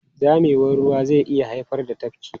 Zamewar ruwa zai iya haifar da tafki.